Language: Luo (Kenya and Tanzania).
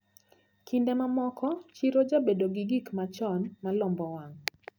Kinde mamoko chiro jabedo gi gikmachon malombo wang`.